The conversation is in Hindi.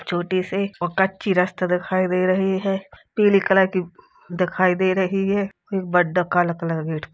छोटी सी और कच्ची रास्ता दिखाई दे रही हैं। पीले कलर की दिखाई दे रही है। वडा- काला कलर का गेट --